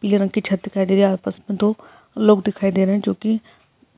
पीली रंग की छत दिखाई दे रही है आसपास में दो लोग दिखाई दे रहे है जो की